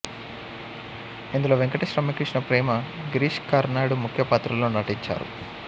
ఇందులో వెంకటేష్ రమ్యకృష్ణ ప్రేమ గిరీష్ కర్నాడ్ ముఖ్యపాత్రల్లో నటించారు